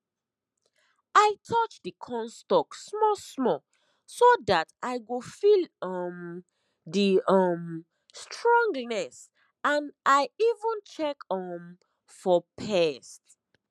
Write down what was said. i touch the corn stalk small small so that i go feel um the um stronginess and i even check um for pest